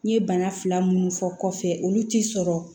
N ye bana fila minnu fɔ kɔfɛ olu ti sɔrɔ